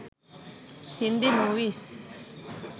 hindi movies